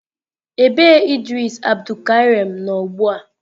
Ebe Idris Abdulkareem nọ ugbu a?